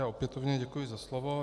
Já opětovně děkuji za slovo.